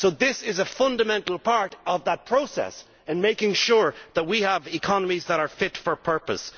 This is a fundamental part of that process in making sure that we have economies that are fit for purpose.